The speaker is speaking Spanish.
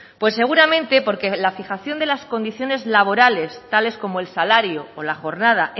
pues seguramente porque la fijación de las condiciones laborales tales como el salario o la jornada